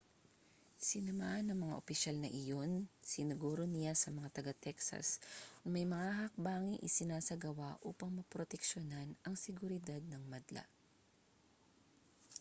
sinamahan ng mga opisyal na iyon siniguro niya sa mga taga-texas na may mga hakbanging isinasagawa upang maproteksiyonan ang seguridad ng madla